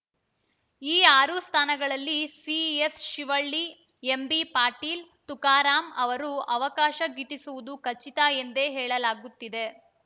ಈ ಆರು ಸ್ಥಾನಗಳಲ್ಲಿ ಸಿಎಸ್‌ಶಿವಳ್ಳಿ ಎಂಬಿಪಾಟೀಲ್‌ ತುಕಾರಾಂ ಅವರು ಅವಕಾಶ ಗಿಟ್ಟಿಸುವುದು ಖಚಿತ ಎಂದೇ ಹೇಳಲಾಗುತ್ತಿದೆ